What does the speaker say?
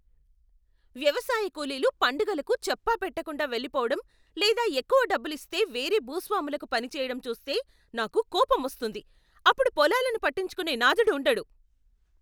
వ్యవసాయ కూలీలు పండగలకు చెప్పాపెట్టకుండా వెళ్లిపోవడం లేదా ఎక్కువ డబ్బులిస్తే వేరే భూస్వాములకు పని చేయడం చూస్తే నాకు కోపం వస్తుంది. అప్పుడు పొలాలను పట్టించుకునే నాథుడు ఉండడు.